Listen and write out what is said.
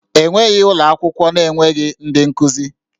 E nweghị ụlọ akwụkwọ na-enweghị ndị nkuzi